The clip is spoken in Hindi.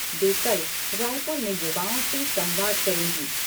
वे कल रायपुर में युवाओं से संवाद करेंगी।